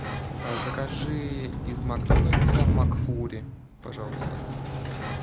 закажи из макдональдса макфлури пожалуйста